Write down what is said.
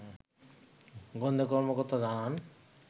গোয়েন্দা কর্মকর্তা জানান